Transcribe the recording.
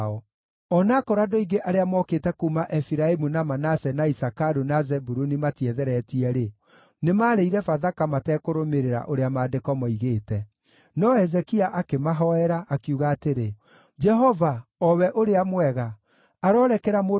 O na akorwo andũ aingĩ arĩa mookĩte kuuma Efiraimu, na Manase, na Isakaru, na Zebuluni matietheretie-rĩ, nĩmarĩire Bathaka matekũrũmĩrĩra ũrĩa maandĩko moigĩte. No Hezekia akĩmahoera, akiuga atĩrĩ, “Jehova, o we ũrĩa mwega, arorekera mũndũ o wothe